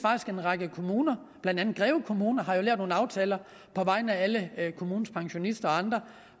en række kommuner blandt andet greve kommune der har lavet nogle aftaler på vegne af alle kommunens pensionister og andre